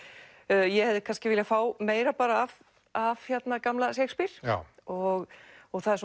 ég hefði kannski viljað fá meira af af gamla Shakespeare og það er